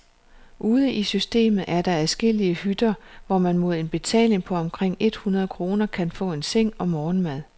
Ude i systemet er der adskillige hytter, hvor man mod en betaling på omkring et hundrede kroner kan få en seng og morgenmad.